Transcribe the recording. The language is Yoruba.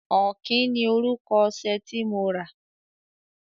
Ọ̀kín ni orúkọ ọṣẹ tí mo rà.